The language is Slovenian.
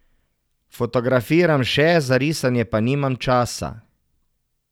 Fotografiram še, za risanje pa nimam časa.